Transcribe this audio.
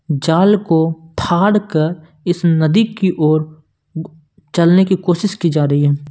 जाल को फाड़ कर इस नदी की ओर चलने की कोशिश की जा रही है।